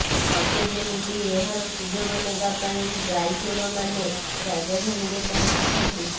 ସତେ ଯେମିତି ଏହାର ସୁଯୋଗ ନେବା ପାଇଁ ଗାଇଚୋରମାନେ ରାଜଧାନୀରେ ପଂହଚିଛନ୍ତି